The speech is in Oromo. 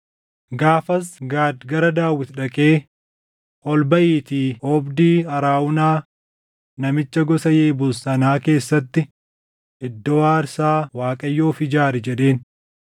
Gaafas Gaad gara Daawit dhaqee, “Ol baʼiitii oobdii Arawunaa namicha gosa Yebuus sanaa keessatti iddoo aarsaa Waaqayyoof ijaari” jedheen.